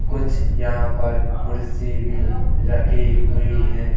कुछ यहाँ पर कुर्सी भी रखी हुई हैं।